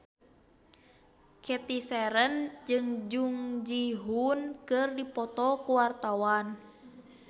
Cathy Sharon jeung Jung Ji Hoon keur dipoto ku wartawan